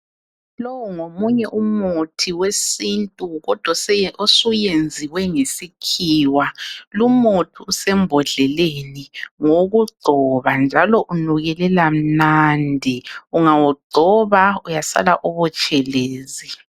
Lowo ngomunye umuthi wesintu kodwa osuyenziwe ngesikhiwa. Lumuthi usembodleleni, ngowokugcoba njalo unukelela mnandi. Ungawugcoba uyasala ubutshelezi.